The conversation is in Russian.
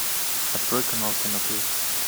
открой канал кино плюс